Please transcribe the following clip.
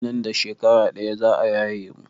Nan da shekara ɗaya za a yaye mu.